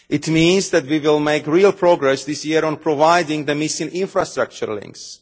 It means that we will make real progress this year on providing the missing infrastructure links.